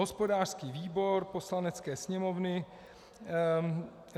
Hospodářský výbor Poslanecké sněmovny